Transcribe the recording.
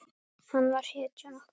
Hann var hetjan okkar.